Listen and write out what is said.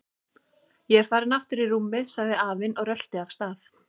Ég er farinn aftur í rúmið sagði afinn og rölti af stað.